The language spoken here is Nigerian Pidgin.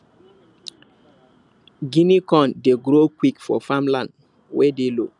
guinea corn dey grow quick for farm land wey dey low